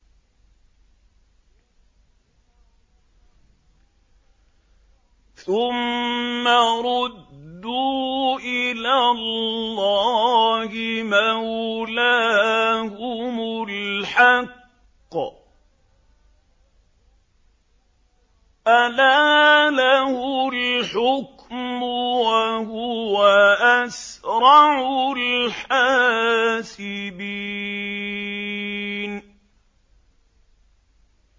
ثُمَّ رُدُّوا إِلَى اللَّهِ مَوْلَاهُمُ الْحَقِّ ۚ أَلَا لَهُ الْحُكْمُ وَهُوَ أَسْرَعُ الْحَاسِبِينَ